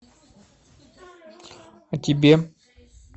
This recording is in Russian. а тебе